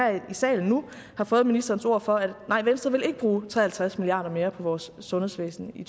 i salen nu har fået ministerens ord for at nej venstre vil ikke bruge tre og halvtreds milliard kroner mere på vores sundhedsvæsen i